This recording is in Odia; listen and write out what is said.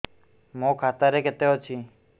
ମୋ ଖାତା ରେ କେତେ ଅଛି